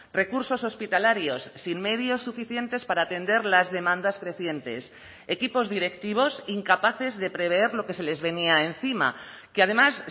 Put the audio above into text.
recursos hospitalarios sin medios suficientes para atender las demandas crecientes equipos directivos incapaces de prever lo que se les venía encima que además